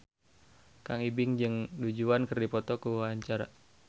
Kang Ibing jeung Du Juan keur dipoto ku wartawan